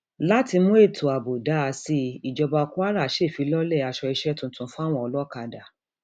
láti mú ètò ààbò dáa sí i ìjọba kwara ṣèfilọlẹ aṣọ iṣẹ tuntun fáwọn olókàdá